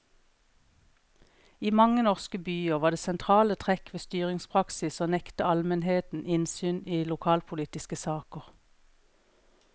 I mange norske byer var det sentrale trekk ved styringspraksis å nekte almenheten innsyn i lokalpolitiske saker.